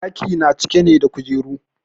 ɗaki na cike ne da kujeru